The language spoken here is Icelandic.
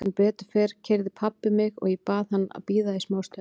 Sem betur fer keyrði pabbi mig og ég bað hann að bíða í smá stund.